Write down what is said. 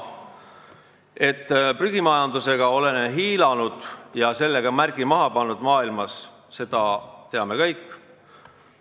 Me oleme prügimajandusega hiilanud ja sellega maailmas märgi maha pannud – seda teame kõik.